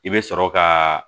I bɛ sɔrɔ ka